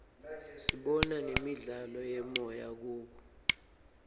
sibona nemidlalo yemoya kubo